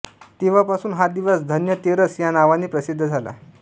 तेव्हापासून हा दिवस धन्य तेरस या नावाने प्रसिद्ध झाला